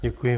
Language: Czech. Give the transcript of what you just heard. Děkuji.